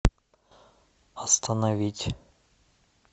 остановить